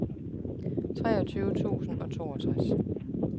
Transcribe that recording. treogtyve tusind og toogtres